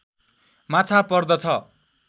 माछा पर्दछ